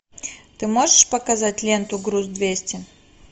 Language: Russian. ты можешь показать ленту груз двести